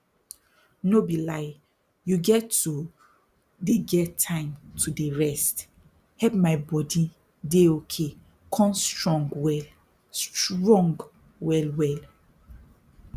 no be lie you get to dey get time to dey rest help my body dey okay con strong well strong well well